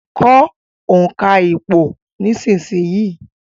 Kọ́ òǹkà ìpò nísìsiyìí